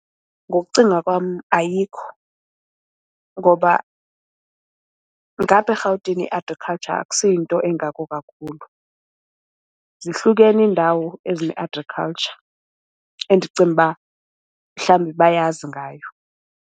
Ngokucinga kwam ayikho ngoba ngapha eRhawutini i-agriculture akusiyo into engako kakhulu. Zihlukene iindawo ezine-agriculture endicinga uba mhlawumbi bayazi ngayo.